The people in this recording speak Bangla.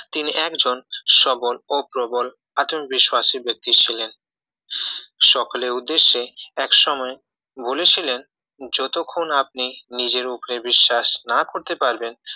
তিনি একজন সবল ও প্রবল আত্মবিশ্বাসী ব্যক্তি ছিলেন সকলের উদ্দেশ্যে এক সময় বলেছিলেন যতক্ষণ আপনি নিজের উপরে বিশ্বাস না করতে পারবেন